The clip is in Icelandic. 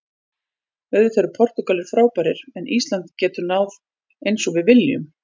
Auðvitað eru Portúgal frábærir en Ísland getur náð eins og við viljum.